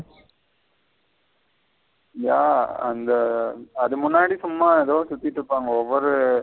யா அந்த அது முன்னாடி சும்மா எதோ சுத்திட்டு இருப்பாங்க ஒவ்வொரு.